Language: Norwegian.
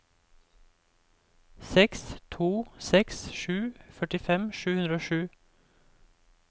seks to seks sju førtifem sju hundre og sju